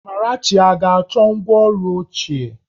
Amarachi ọ ga-achọ ngwá ọrụ ochie?